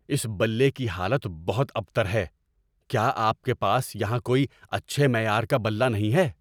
اس بلے کی حالت بہت ابتر ہے۔ کیا آپ کے پاس یہاں کوئی اچھے معیار کا بلّا نہیں ہے؟